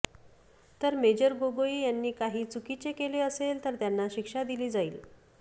तर मेजर गोगोई यांनी काही चुकीचे केले असेल तर त्यांना शिक्षा दिली जाईल